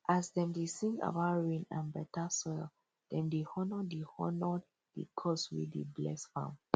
as dem dey sing about rain and better soil dem dey honour the honour the gods wey dey bless farm